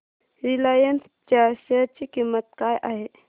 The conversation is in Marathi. रिलायन्स च्या शेअर ची किंमत काय आहे